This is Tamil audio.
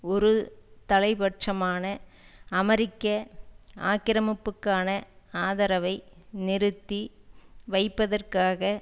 ஒரு தலை பட்சமான அமெரிக்க ஆக்கிரமிப்புக்கான ஆதரவை நிறுத்தி வைப்பதற்காக